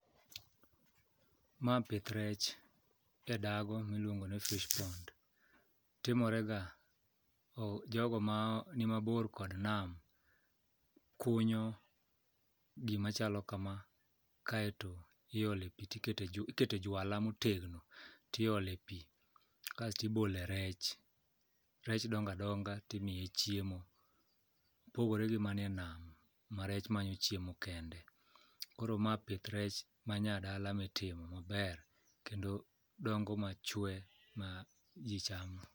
Ma pith rech e dago miluongo ni fish pond. Timorega, jogo manimabor kod nam kunyo gimachalo kama kaeto ikete jwala motegno tiole pi kasto ibole rech, rech dongo adonga timiye chiemo. Opogore gi man e nam ma rech manyo chiemo kende. Koro ma pith rech manayadala mitimo maber kendo dongo machwe ma ji cham.